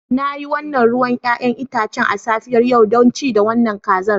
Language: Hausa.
Na yi wannan ruwan 'ya'yan itace a safiyar yau don ci da wannan kaza.